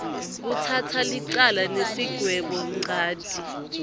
kutsatsa licala nesigwebonchanti